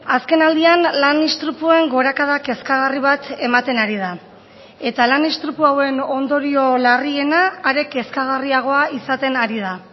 azkenaldian lan istripuan gorakada kezkagarri bat ematen ari da eta lan istripua hauen ondorio larriena are kezkagarriagoa izaten ari da